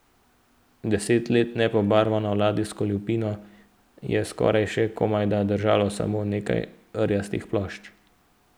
Deset let nepobarvano ladijsko lupino je skupaj še komajda držalo samo nekaj rjastih plošč.